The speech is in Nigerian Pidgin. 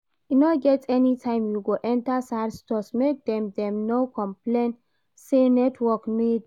E no get any time you go enter Sahad Stores make dem no complain say network no dey